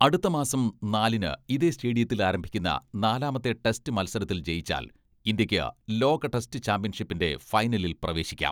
അടുത്ത മാസം നാലിന് ഇതേ സ്റ്റേഡിയത്തിൽ ആരംഭിക്കുന്ന നാലാമത്തെ ടെസ്റ്റ് മത്സരത്തിൽ ജയിച്ചാൽ ഇന്ത്യയ്ക്ക് ലോക ടെസ്റ്റ് ചാമ്പ്യൻഷിപ്പിന്റെ ഫൈനലിൽ പ്രവേശിക്കാം.